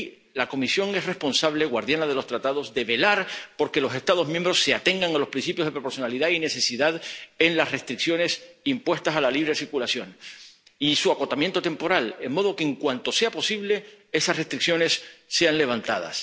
Y la Comisión es responsable, como guardiana de los Tratados, de velar por que los Estados miembros se atengan a los principios de proporcionalidad y necesidad en las restricciones impuestas a la libre circulación y por su acotamiento temporal, de modo que, en cuanto sea posible, esas restricciones sean levantadas.